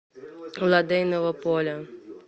лодейного поля